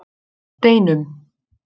Steinum